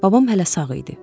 Babam hələ sağ idi.